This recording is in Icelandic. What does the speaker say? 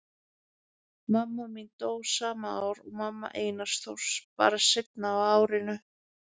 Mamma mín dó sama ár og mamma Einars Þórs, bara seinna á árinu.